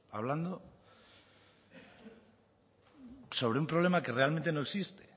hablando sobre un problema que realmente no existe